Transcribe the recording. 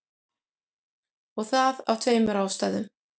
Og það af tveimur ástæðum.